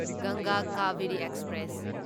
ꯒꯪꯒꯥ ꯀꯥꯚꯦꯔꯤ ꯑꯦꯛꯁꯄ꯭ꯔꯦꯁ